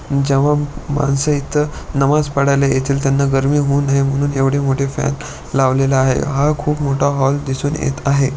जेव्हा माणसं इथं नमाज पडायला येतील त्यांना गरमी होऊ नये म्हणून एवढे मोठे फॅन लावलेला आहे हा खूप मोठा हॉल दिसून येत आहे.